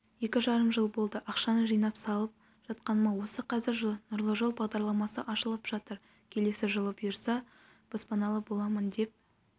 екі жарым жыл болды ақшаны жинап салып жатқаныма осы қазір нұрлы жол бағдарламасы ашылып жатыр келесі жылы бұйырса баспаналы боламын деп